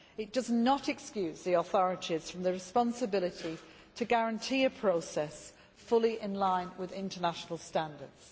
It does not excuse the authorities from the responsibility to guarantee a process which is fully in line with international standards.